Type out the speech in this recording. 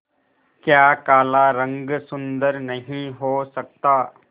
क्या काला रंग सुंदर नहीं हो सकता